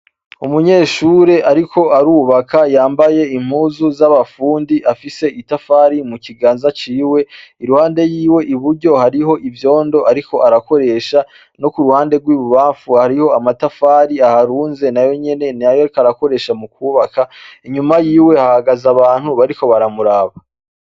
Umunyeshure ariko arubaka yambaye impuzu z'abafundi. Afise itafari mu kiganza ciwe. Iruhande yiwe i buryo hariho ivyondo ariko arakoresha. No ku ruhande rw'i bubamfu hariho amatafari aharunze. Nayo nyene ni ayo ariko arakoresha mu kwubaka. Inyuma yiwe hahagaze abantu bariko baramuraba.